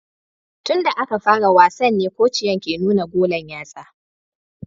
Tun da aka fara wasan ne kociyan ke nuna golan yatsa